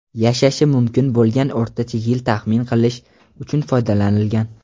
yashashi mumkin bo‘lgan o‘rtacha yil taxmin qilish uchun foydalanilgan.